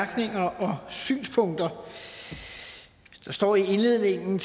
og synspunkter der står i indledningen